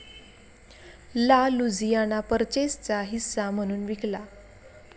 ला लुझियाना पर्चेसचा हिस्सा म्हणून विकला.